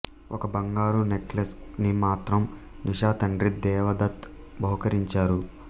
ఒక బంగారు నెక్ల్సెస్ ని మాత్రం నిషా తండ్రి దేవ దత్ బహూకరించారు